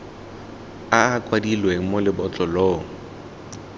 a a kwadilweng mo lebotlolong